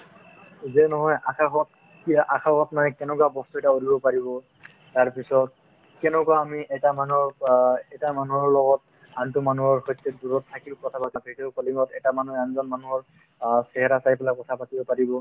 যে নহয় আকাশত কি হয় আকাশত মানে কেনেকুৱা বস্তু এটা উলমিব পাৰিব তাৰপিছত কেনেকুৱা আমি এটা মানুহক অ এটা মানুহৰ লগত আনতো মানুহৰ সৈতে দূৰত থাকি কথা-বতৰা পাতিছো video calling ত এটা মানুহে আনজন মানুহৰ অ চেহেৰা চাই পেলাই কথা পাতিব পাৰিব